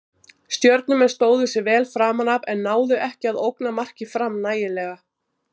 Stjörnumenn stóðu sig vel framan af en náðu ekki að ógna marki Fram nægilega.